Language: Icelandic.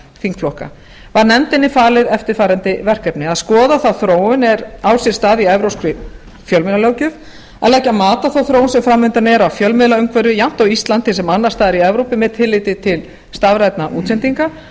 þingflokka var nefndinni var falið eftirfarandi verkefni að skoða þá þróun er á sér stað í evrópskri fjölmiðlalöggjöf að leggja mat á þá þróun sem fram undan er á fjölmiðlaumhverfi jafnt á íslandi sem annars staðar í evrópu með tilliti til stafrænna útsendinga